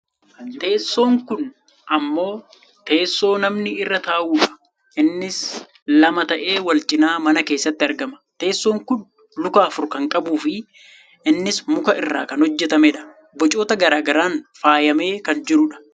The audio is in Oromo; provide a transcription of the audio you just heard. teessoon kun ammoo teessoo namni irra taa'udha, innis lama ta'ee wal cinaa mana keessatti argama. teessoon kun luka afur kan qabuufi innis muka irraa kan hojjatamedha. bocoota gara garaan faayamee kan jirudha.